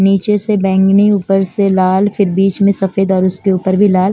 नीचे से बैंगनी ऊपर से लाल फिर बीच में सफ़ेद और उसके ऊपर भी लाल--